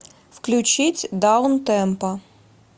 включить даунтемпо